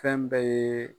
Fɛn bɛɛ ye